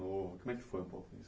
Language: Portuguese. Como é que foi ?